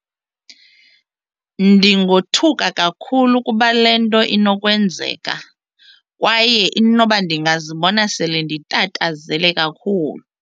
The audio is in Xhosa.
Ndingothuka kakhulu kuba le nto inokwenzeka kwaye inoba ndingazibona sele nditatazele kakhulu.